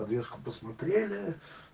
подвеску посмотрели